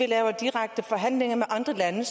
laver direkte forhandlinger med andre lande